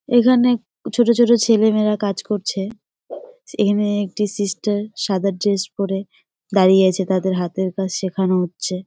এইখানে ছোট ছোট ছেলে মেয়েরা কাজ করছে সেখানে একটা সিস্টার সাদা ড্রেস পরে দাঁড়িয়ে আছে তাদের হাতের কাজ সেখান হচ্ছে।